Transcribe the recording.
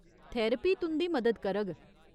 Therapy तुं'दी मदद करग।